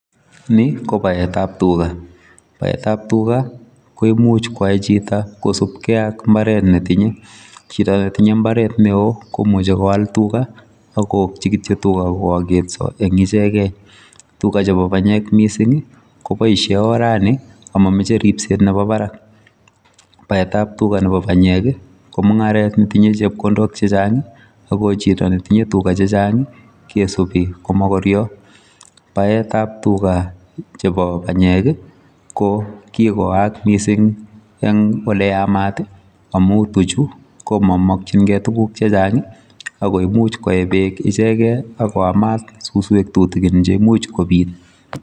Ni ko baetap tuga. Baetap tuga ko imuch kwai chito kosubkei ak mbaret netinye. Chito netinye mbaret neo komuchi koal tuga akookchi kityo tuga koaketso eng ichekee. Tuga chepo panyek mising koboishe orani amameche ripset nepo barak. Baetap tuga nepo banyek ko mung'aret netinye chepkondok chechang ako chito netinye tuga chechang kesubi ko mokoryo. Baetap tuga chepo banyek ko kikoaak mising eng oleyamat amu tuchu ko mamakchingei tuguk chechang ako imuch koe beeek ichekei akoamat suswek tutikin che imuch kobit.